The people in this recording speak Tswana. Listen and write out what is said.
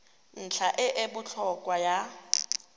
ntlha e e botlhokwa ya